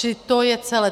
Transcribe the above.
Čili to je celé.